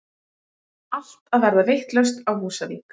Allt að verða vitlaust á Húsavík!!!!!